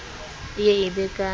e ye e be ka